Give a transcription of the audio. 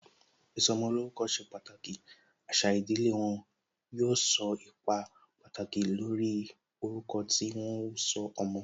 Ìsọmolórúkọ ṣe pàtàkì, àṣà ìdílé wọn, yóò kó ipa pàtàkì lórí orúkọ tí wọn ó sọ ọmọ